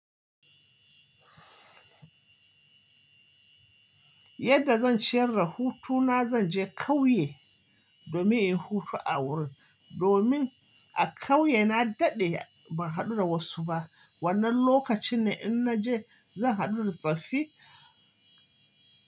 Yadda zan ciyar da hutu na zan je ƙauye domin in yi hutu a wurin. Domin a kauye na daɗe ban haɗu da wasu ba. Wannan lokaci ne in na je zan haɗu da tsaffi.